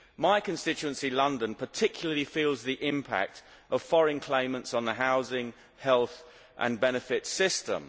My constituency London particularly feels the impact of foreign claimants on the housing, health and benefits systems.